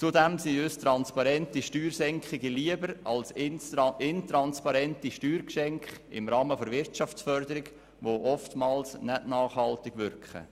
Zudem sind uns transparente Steuersenkungen lieber als intransparente Steuergeschenke im Rahmen der Wirtschaftsförderung, die oftmals nicht nachhaltig wirken.